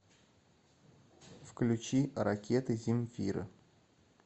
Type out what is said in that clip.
включи ракеты земфиры